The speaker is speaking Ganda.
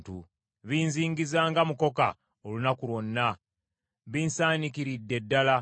Binzingiza nga mukoka olunaku lwonna; binsaanikiridde ddala.